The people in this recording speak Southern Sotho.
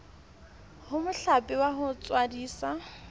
ho mohlape wa ho tswadisa